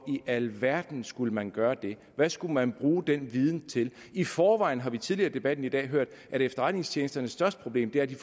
i alverden skulle man gøre det hvad skulle man bruge den viden til i forvejen har vi tidligere i debatten i dag hørt at efterretningstjenesternes største problem er at de